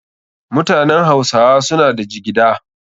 Mutanen hausawa suna da jigida.